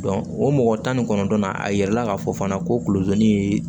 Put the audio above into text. o mɔgɔ tan ni kɔnɔntɔn na a yɛrɛ la k'a fɔ fana ko kulotoni